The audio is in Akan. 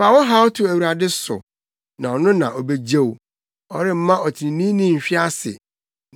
Fa wo haw to Awurade so na ɔno na obegye wo; ɔremma ɔtreneeni nhwe ase.